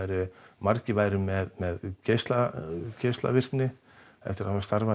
margir væru með geislavirkni geislavirkni eftir að hafa starfað